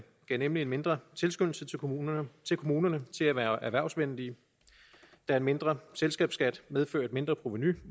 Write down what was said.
gav nemlig en mindre tilskyndelse til kommunerne til kommunerne til at være erhvervsvenlige da en mindre selskabsskat medfører et mindre provenu